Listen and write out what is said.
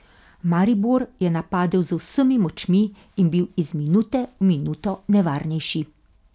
Maribor je napadel z vsemi močmi in bil iz minute v minuto nevarnejši.